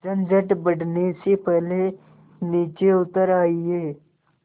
झंझट बढ़ने से पहले नीचे उतर आइए